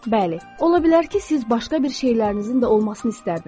Bəli, ola bilər ki, siz başqa bir şeylərinizin də olmasını istərdiniz.